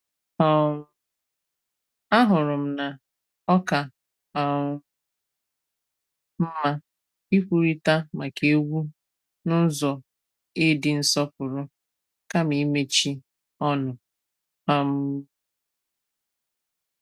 um Ahụrụ m na ọ̀ kà um mma ikwùrìtà maka ègwù n’ụ̀zọ e dì nsọ̀pụrụ kàma ịmechi ọnụ. um